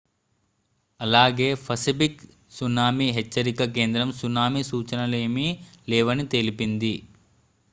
అలాగే Pacific tsunami హెచ్చరిక కేంద్రం సునామీ సూచనలేమీ లేవని తెలిపింది